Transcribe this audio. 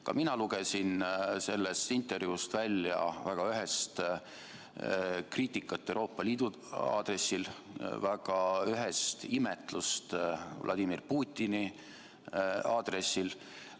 Ka mina lugesin sellest intervjuust välja väga ühest kriitikat Euroopa Liidu aadressil ja väga ühest imetlust Vladimir Putini aadressil.